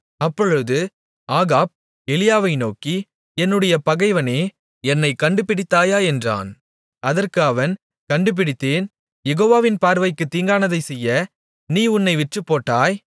அப்பொழுது ஆகாப் எலியாவை நோக்கி என்னுடைய பகைவனே என்னைக் கண்டுபிடித்தாயா என்றான் அதற்கு அவன் கண்டுபிடித்தேன் யெகோவாவின் பார்வைக்குத் தீங்கானதைச் செய்ய நீ உன்னை விற்றுப்போட்டாய்